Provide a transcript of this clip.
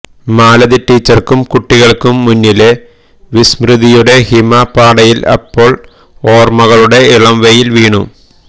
മാലതി ടീച്ചര്ക്കും കുട്ടികള്ക്കും മുന്നിലെ വിസ്മൃതിയുടെ ഹിമപാടയില് അപ്പോള് ഓര്മകളുടെ ഇളംവെയില് വീണു